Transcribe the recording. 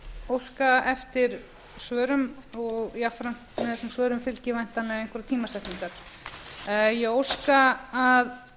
óska eftir svörum og jafnframt með þessum svörum fylgi væntanlega einhverjar tímasetningar ég óska að